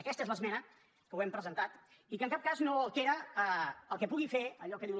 aquesta és l’esmena que hem presentat i que en cap cas no altera el que pugui fer allò que diu